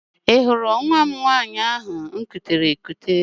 Ị hụrụ nwa m nwaanyị ahụ m kutere ekute?